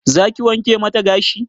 Za ki wanke mata gashi?